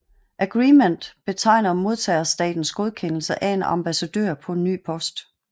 Agrement betegner modtagerstatens godkendelse af en ambassadør på en ny post